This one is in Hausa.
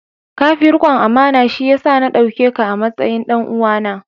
Ka fi rikon amana, shi ya sa na dauke ka a matsayin ɗan uwana.